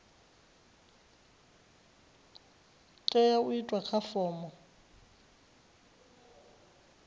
tea u itwa kha fomo